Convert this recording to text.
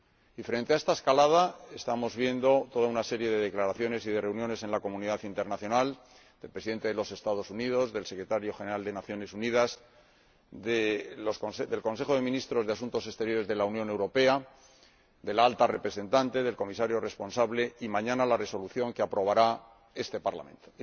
Y frente a esta escalada, estamos viendo toda una serie de declaraciones y de reuniones en la comunidad internacional del Presidente de los Estados Unidos, del Secretario General de las Naciones Unidas, del Consejo de Ministros de Asuntos Exteriores de la Unión Europea, de la Alta Representante, del Comisario responsable ―y, mañana, la Resolución que aprobará este Parlamento―.